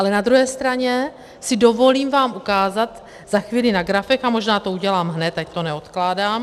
Ale na druhé straně si dovolím vám ukázat za chvíli na grafech, a možná to udělám hned, ať to neodkládám.